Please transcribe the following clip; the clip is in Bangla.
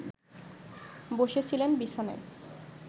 বসেছিলেন বিছানায়